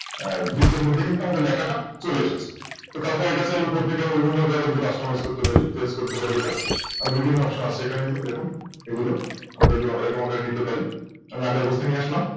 আমাদের বৃত্তের মধ্যে কিন্তু আমাদের লেখাটা চলে এসেছে তো আমরা তারপর এটা চাইলে উপর থেকে Customise করতে পারি এটা বিভিন্ন Option আছে এখানে এই যে দেখুন এগুলো আমরা এরকম Order এ নিতে পারি আমি আগের অবস্থায় নিয়ে আসলাম